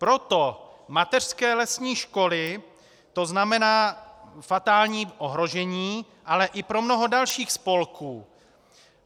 Pro mateřské lesní školy to znamená fatální ohrožení, ale i pro mnoho dalších spolků.